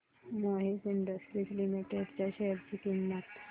Mohit industries limited च्या share ची किंमत